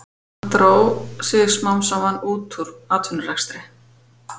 Hann dró sig smám saman út úr atvinnurekstri.